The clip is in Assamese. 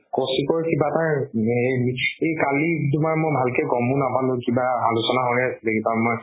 কৌশিকৰ কিবা এটা এই কালি তুমাৰ মই ভালকে গ'মো নাপালো কিবা আলোচনা হয় আছিলে